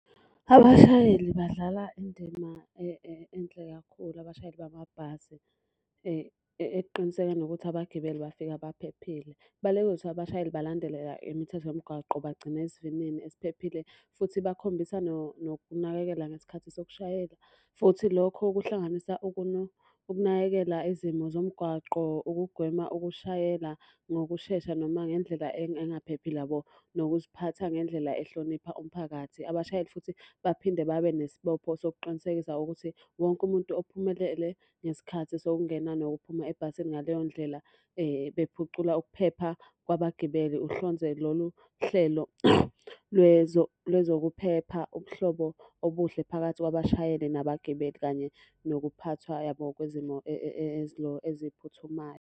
Abashayeli badlala indima enhle kakhulu abashayeli bamabhasi ekuqinisekeni ukuthi abagibeli bafika baphephile. kuzothiwa abashayeli balandelela imithetho yomgwaqo bagcine isivinini esiphephile. Futhi bakhombisa nokunakekela ngesikhathi sokushayela. Futhi lokho kuhlanganisa ukunakekela izimo zomgwaqo, ukugwema ukushayela ngokushesha noma ngendlela engaphephile yabo. Nokuziphatha ngendlela ehlonipha umphakathi. Abashayeli futhi baphinde babe nesibopho sokuqinisekisa ukuthi wonke umuntu ophumelele ngesikhathi sokungena nokuphuma ebhasini ngaleyo ndlela bephucula ukuphepha kwabagibeli. Uhlonze lolu hlelo lwezokuphepha ubuhlobo obuhle phakathi kwabashayeli nabagibeli, kanye nokuphathwa yabo kwezimo eziphuthumayo.